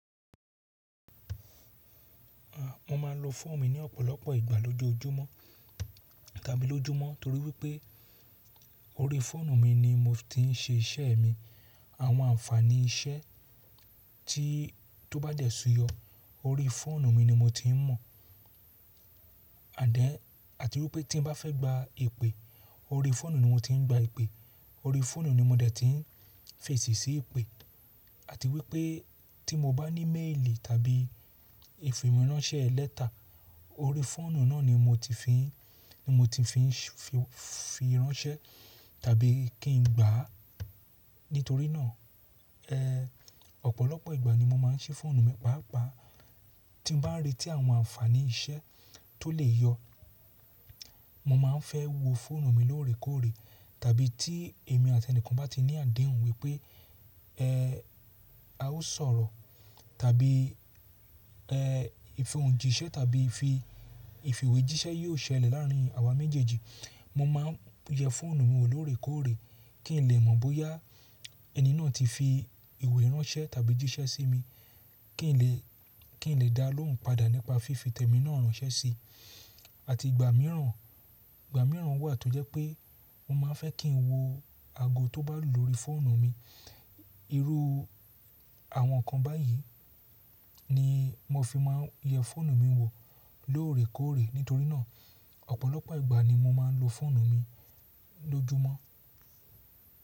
A, mo máa ń lo fóònù mi ní ọ̀pọ̀lọpọ̀ ìgbà lójoojúmọ́ tàbí lójúmọ́, torí wípẹ́ orí fóònù mi ni mo ti ń ṣe iṣẹ́ mi. Àwọn àǹfààní iṣẹ́ tí tó bá dẹ̀ ṣuyọ, orí fóònù mi ni mo ti ń mọ̀. Ànd then àti wípé tí n bá fẹ́ gba ìpè, orí fóònù ni mo ti ń gba ìpè. Orí fóònù ni mo dẹ̀ ti ń fèsì sí ìpè. Àti wípé tí mo bá ní méèlì tàbí ìfìwéránṣẹ́ lẹ́tà, orí fóònù náà ni mo ti fi ń, ni mo ti fi ń fi ránṣẹ́ tàbí kí n gbà á. Nítorí náà, ẹ, ọ̀pọ̀lọpọ̀ ìgbà ni mo máa ń ṣí fóònù mi pàápàá. Ti n bá ń rètí àwọn àǹfààní iṣẹ́ tó lè yọ, mo máa ń fẹ́ wo fóònù mi lóòrèkóòrè. Tàbí tí èmi àti ẹnìkan bá ti ní àdehun wí pé, ẹ, a ó sọ̀rọ̀, tàbí, ẹ, ìfẹ̀hùn jíṣẹ́ tàbí ìfì ìwé jíṣẹ́ yóò ṣẹlẹ̀ lárín àwa méjèèjì, mo máa ń yẹ fóònù mi wọ lóòrèkóòrè kí n lè mọ̀ bóyá ẹni náà ti fi ìwé ránṣẹ́ tàbí jíṣẹ́ sí mi, kí n lè, kí n lè dá lóhùn padà nípa fífi tẹ̀mínà ránṣẹ́ sí i. Àti ìgbà mìíràn, ìgbà mìíràn wà tó jẹ́ pé mo máa ń fẹ́ kí n wo ago tó bá lù lórí fóònù mi. Irú àwọn nǹkan báyìí ni mo fi máa ń yẹ fóònù mi wo lóòrèkóòrè. Nítorí náà, ọ̀pọ̀lọpọ̀ ìgbà ni mo máa ń lo fóònù mi lójúmọ́.